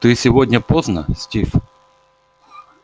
ты сегодня поздно стив